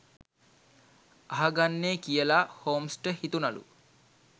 අහගන්නේ කියලා හොම්ස්ට හිතුනලූ